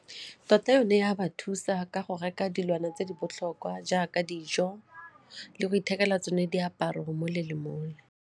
Tota yone e a ba thusa ka go reka dilwana tse di botlhokwa jaaka dijo le go ithekela tsone diaparo mole le mole.